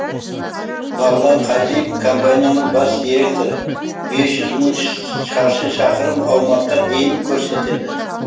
бағлан қазиев компанияның бас директоры бес жүз мың шаршы шақырым аумаққа дейін көрсетеді